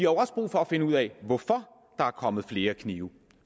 også brug for at finde ud af hvorfor der er kommet flere knive